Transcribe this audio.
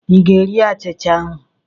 Ị ga-eri achịcha ahụ?